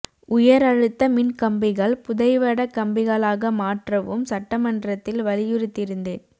உயர் அழுத்த மின் கம்பிகள் புதைவட கம்பிகளாக மாற்றவும் சட்டமன்றத்தில் வலியுறுத்தியிருந்தேன்